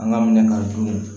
An ka minɛ ka dun